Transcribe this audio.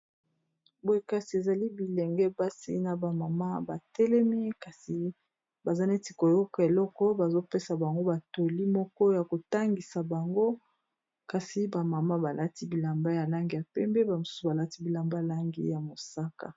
boye kasi ezali bilenge basi na bamama batelemi kasi baza neti koyoka eloko bazopesa bango batoli moko ya kotangisa bango kasi bamama balati bilamba ya langi ya pembe bamosusu balati bilamba ylangi ya mosaka